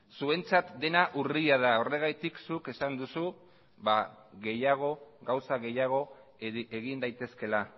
zuentzat dena urria da horregatik zuk esan duzu gehiago gauza gehiago egin daitezkeela